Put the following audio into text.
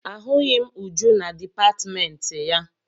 Ahụghị m Uju na dipatịmentị ya.